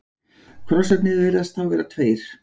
Krossarnir virðast þá vera tveir.